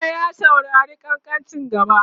wata ya saurari kankancin gara?